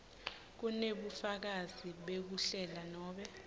kunebufakazi bekuhlela nobe